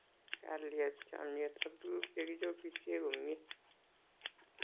Kalyet, chamiet ak tukuk che kichopisie komie